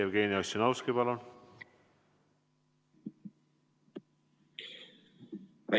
Jevgeni Ossinovski, palun!